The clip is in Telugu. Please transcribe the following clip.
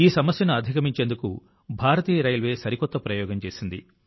ఈ సమస్యను అధిగమించేందుకు భారతీయ రైల్వే సరికొత్త ప్రయోగం చేసింది